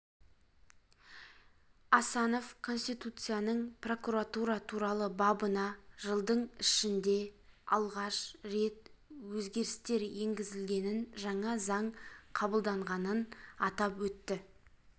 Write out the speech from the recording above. асанов конституцияның прокуратура туралы бабына жылдың ішінде алғаш рет өзгерістер енгізілгенін жаңа заң қабылданғанын атап өтті